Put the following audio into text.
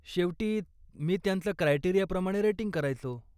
शेवटी, मी त्यांचं क्रायटेरियाप्रमाणे रेटिंग करायचो.